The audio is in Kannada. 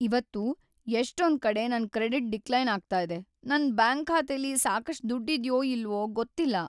ಇವತ್ತು ಎಷ್ಟೊಂದ್ಕಡೆ ನನ್ ಕ್ರೆಡಿಟ್ ಡಿಕ್ಲೈನ್ ಆಗ್ತಾ ಇದೆ. ನನ್ ಬ್ಯಾಂಕ್ ಖಾತೆಲಿ ಸಾಕಷ್ಟ್ ದುಡ್ಡಿದ್ಯೋ ಇಲ್ವೋ ಗೊತ್ತಿಲ್ಲ.